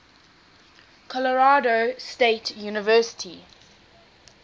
colorado state university